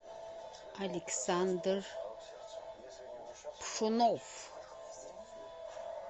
александр пшенов